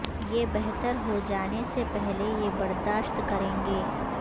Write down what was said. یہ بہتر ہو جانے سے پہلے یہ برداشت کریں گے